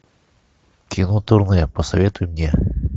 кино турне посоветуй мне